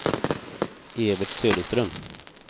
Evert Söderström